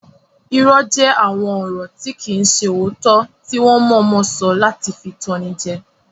Irọ́ jẹ́ àwọn ọ̀rọ̀ tí kìí ṣe òótọ́ tí wọ́n mọ̀ọ́mọ̀ sọ láti fi tan ni jẹ